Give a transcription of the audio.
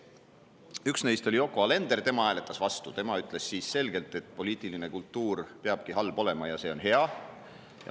Üks neist oli Yoko Alender, tema hääletas vastu, tema ütles selgelt, et poliitiline kultuur peabki halb olema ja see on hea.